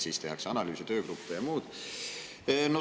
Siis tehakse analüüse, töögruppe ja muud.